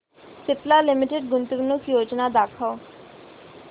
Cipla limited गुंतवणूक योजना दाखव